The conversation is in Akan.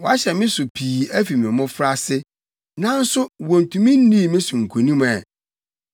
“Wɔahyɛ me so pii afi me mmofraase, nanso wontumi nnii me so nkonim ɛ.